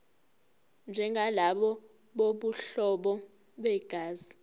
njengalabo bobuhlobo begazi